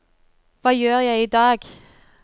hva gjør jeg idag